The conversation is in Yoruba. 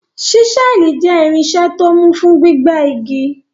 Ṣísẹ́ẹ̀lì jẹ́ irinṣẹ́ tó mú fún gbígbẹ́ igi.